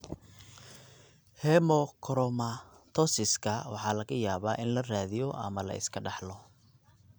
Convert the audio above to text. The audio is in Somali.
Hemochromatosiska waxaa laga yaabaa in la raadiyo ama la iska dhaxlo.